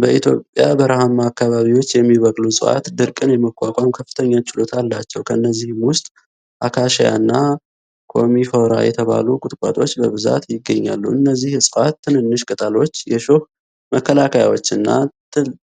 በኢትዮጵያ በረሃማ አካባቢዎች የሚበቅሉ ዕፅዋት ድርቅን የመቋቋም ከፍተኛ ችሎታ አላቸው። ከነዚህም ውስጥ አካሺያና ኮሚፎራ የተባሉ ቁጥቋጦዎች በብዛት ይገኛሉ። እነዚህ ዕፅዋት ትንንሽ ቅጠሎች፣ የሾህ መከላከያዎችና